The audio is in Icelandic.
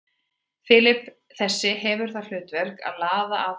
Flipi þessi hefur það hlutverk að laða að fisk.